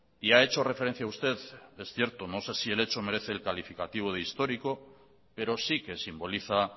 y ha hecho referencia usted es cierto no sé si el hecho merece el calificativo de histórico pero sí que simboliza